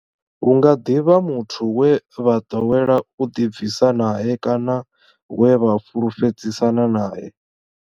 Hu nga ḓi vha muthu we vha ḓowela u ḓibvisa nae kana we vha fhulufhedzisana nae.